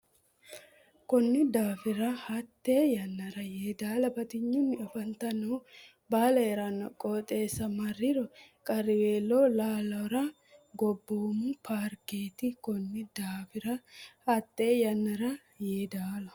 Konni daafira hatte yannara Yeedaala batinyunni afantannohu Baale hee ranno qooxeessa marriro qarriweelo Ilaallara Gobboomu Paarkeraati Konni daafira hatte yannara Yeedaala.